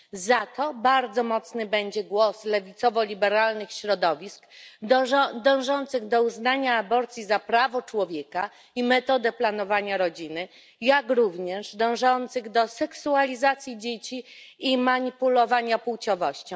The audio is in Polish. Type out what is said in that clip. Za to bardzo mocny będzie głos lewicowo liberalnych środowisk dążących do uznania aborcji za prawo człowieka i metodę planowania rodziny, jak również dążących do seksualizacji dzieci i manipulowania płciowością.